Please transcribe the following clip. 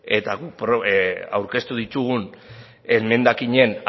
eta guk aurkeztu ditugun emendakinen